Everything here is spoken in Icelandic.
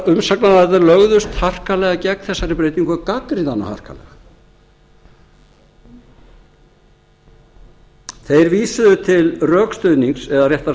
umsagnaraðilar lögðust harkalega gegn þessari breytingu og gagnrýna hana harkalega þeir vísuðu til rökstuðnings eða réttara